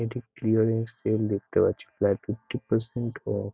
একটি clearance sale দেখতে পাচ্ছি। প্রায় ফিফটি পারসেন্ট অফ ।